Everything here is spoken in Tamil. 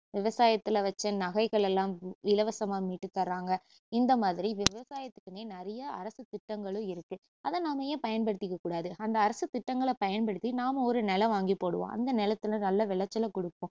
விவசாயத்துல வச்ச நகைகலை எல்லாம் இலவசமா மீட்டுதர்றாங்க இந்தமாதிரி விவசாயத்துக்குன்னே நிறையா அரசுத்திட்டங்களும் இருக்கு அதை நாம ஏன் பயன் படுத்திக்கக்கூடாது அந்த அரசுத்திட்டங்களை பயன்படுத்தி நாம ஒரு நிலம் வாங்கி போடுவோம் அந்த நிலத்துல நல்ல விளைச்சல குடுப்போம்